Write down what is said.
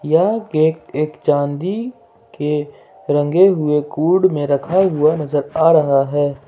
यह केक एक चांदी के रंगे हुए कूड में रखा हुआ नजर आ रहा है।